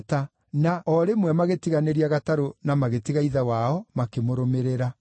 na o rĩmwe magĩtiganĩria gatarũ na magĩtiga ithe wao, makĩmũrũmĩrĩra.